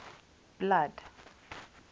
blood